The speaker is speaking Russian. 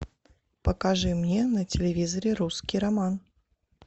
покажи мне на телевизоре русский роман